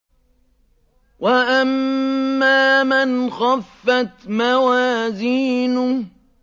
وَأَمَّا مَنْ خَفَّتْ مَوَازِينُهُ